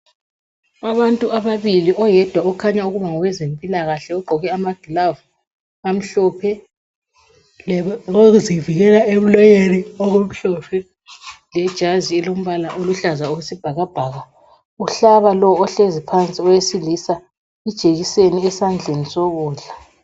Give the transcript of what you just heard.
Abantu ababili, oyedwa kukhanya engowezempilakahle. Ogqoke amagilavu amhlophe, lokokuzivikela emlonyeni okumhlophe, lejazi elilombala oluhlaza okwesibhakabhaka. Uhlaba lo ohlezi phansi owesilisa ijekiseni esandleni sokudla.